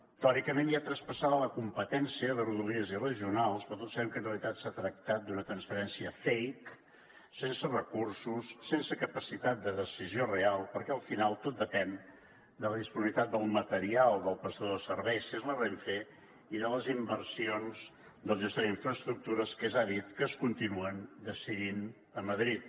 teòricament hi ha traspassada la competència de rodalies i regionals però tots sabem que en realitat s’ha tractat d’una transferència fake sense recursos sense capacitat de decisió real perquè al final tot depèn de la disponibilitat del material del prestador de serveis que és la renfe i de les inversions del gestor d’infraestructures que és adif que es continuen decidint a madrid